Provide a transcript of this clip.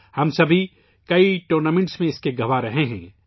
ہم سب کئی ٹورنامنٹس میں اس کے گواہ رہے ہیں